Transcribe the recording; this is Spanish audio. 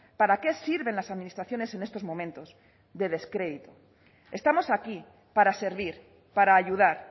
para qué sirven las administraciones en estos momentos de descrédito estamos aquí para servir para ayudar